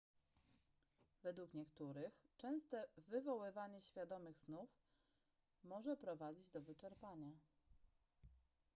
według niektórych częste wywoływanie świadomych snów może prowadzić do wyczerpania